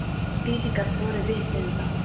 Dídí gat borið vitni um það.